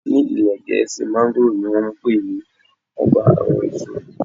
Ní ilé Gẹ̀ẹ́sì, mángóròò ni wón ń pe ní Ọba àwọn èso.